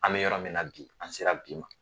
An bɛ yɔrɔ min na bi an sera bi ma